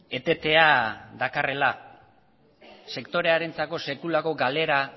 etetea dakarrela sektorearentzako sekulako galera